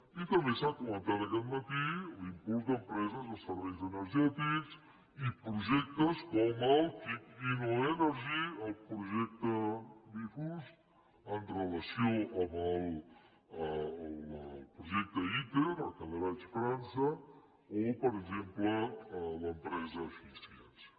i també s’ha comentat aquest matí l’impuls d’empreses de serveis energètics i projectes com el kic innoenergy el projecte bfus amb relació al projecte iter a cadarache frança o per exemple l’empresa efiensa